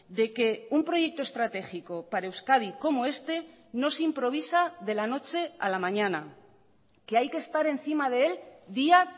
de que un proyecto estratégico para euskadi como este no se improvisa de la noche a la mañana que hay que estar encima de él día